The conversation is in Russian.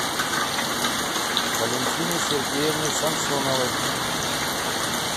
валентины сергеевны самсоновой